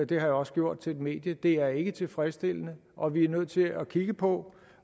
det har jeg også gjort til et medie det er ikke tilfredsstillende og vi er nødt til at kigge på